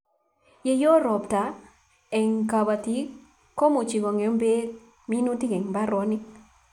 Kiyo ropta eng kobatik komuchi kongem beek minutik eng baronik